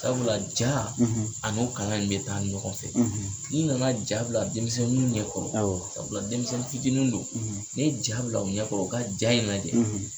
Sabula jaa ani o kalan in bɛ taa ɲɔgɔn fɛ n'i na na jaa bila denmisɛnninw ɲɛkɔrɔ sabula denmisɛnni fitini do ni ye jaa bila u ɲɛkɔrɔ u ka jaa in lajɛ.